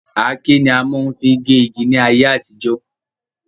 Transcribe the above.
Àáké ni a mo n fi ge igi ní ayé àtijó